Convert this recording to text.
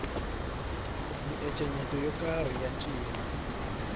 miencenyeto yo karhi ya ncino